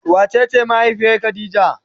Wa cece mahaifiyar khadijah?